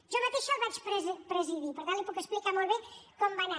jo mateixa el vaig presidir per tant li puc explicar molt bé com va anar